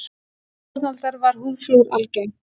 Í Evrópu fornaldar var húðflúr algengt.